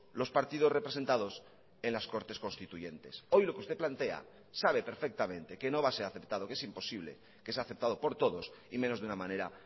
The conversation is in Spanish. los partidos representados en las cortes constituyentes hoy lo que usted plantea sabe perfectamente que no va a ser aceptado que es imposible que sea aceptado por todos y menos de una manera